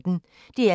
DR P1